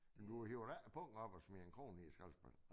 Men du hiver da ikke pungen op og smider en krone ned i skralespanden?